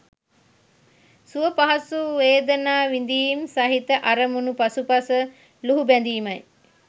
සුව පහසු වේදනා විඳීම් සහිත අරමුණු පසුපස ලුහු බැඳීමයි.